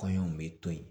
Kɔɲɔw bɛ to yen